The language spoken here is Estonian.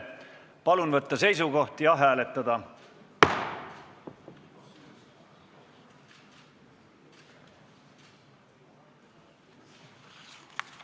Palun võtta seisukoht ja hääletada!